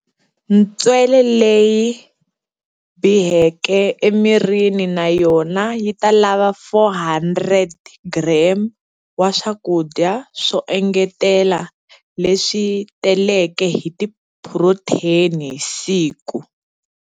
Ntswele leyi biheke emirini na yona yi ta lava 400g wa swakudya swo engetela leswi taleke hi tiphurotheni hi siku.